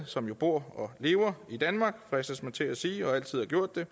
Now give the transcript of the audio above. som jo bor og lever i danmark fristes man til at sige og altid har gjort det